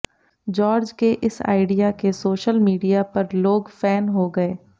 George के इस idea के सोशल मीडिया पर लोग फैन हो गए